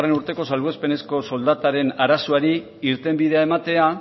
urteko salbuespenezko soldataren arazoari irtenbidea ematea